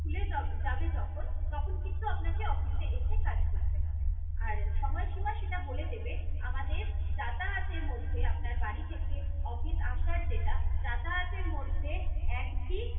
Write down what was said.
খুলে যব~ যাবে যখন তখন কিন্তু আপনাকে office এ এসে কাজ করতে হবে। আর সময়সীমা সেটা বলে দেবে আমাদের যাতায়াতের মধ্যে আপনার বাড়ি থেকে office আসার যেটা যাতায়াতের মধ্যে একদিন